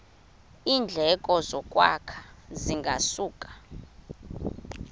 iindleko zokwakha zingasuka